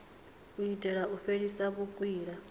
u itela u fhelisa vhukwila